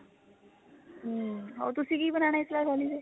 ਹਮ ਹੋਰ ਤੁਸੀਂ ਕਿ ਬਨਾਣਾ ਇਸ ਵਾਰ ਹੋਲੀ ਤੇ